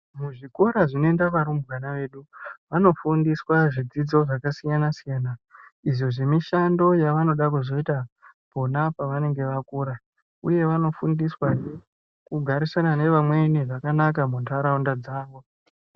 Muzvikora zvinoenda varumbwana vedu, vanofundiswa zvidzidzo zvakasiyana-siyana, izvo zvemishando yavanoda kuzoita ,pona pavanenge vakura, uye vanofundiswahe kugarisana nevamweni zvakanaka muntaraunda dzavo.